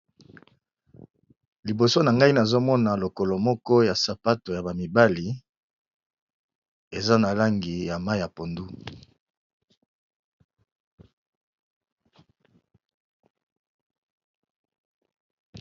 Liboso na ngai nazomona lokolo moko ya sapato ya bamibali eza na langi ya ma ya pondu.